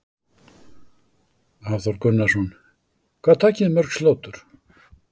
Hafþór Gunnarsson: Hvað takið þið mörg slátur?